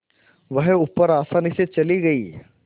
वह ऊपर आसानी से चली गई